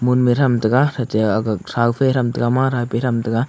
mun me thamtaga ate ag thau keh thamtaga ma thau keh thamtaga.